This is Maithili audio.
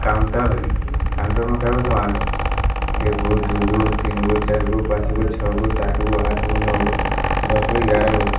काउंटर है काउंटर में के गो सामान है एगो दु गो तीन गो चार गो पांच गो छह गो सात गो आठ गो नौ गो दस गो ग्यारह गो है ।